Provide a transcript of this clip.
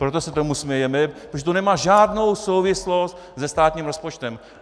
Proto se tomu smějeme, protože to nemá žádnou souvislost se státním rozpočtem.